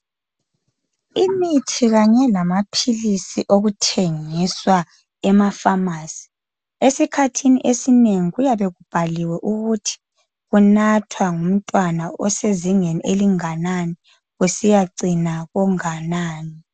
imithi kanye lamaphilisi okuthengiswa eaphamarcy esikhathini esinengi kuyabe kubhaliwe ukuthi kunathwa ngumntwana osezingeni elinganani kusiyacina konganani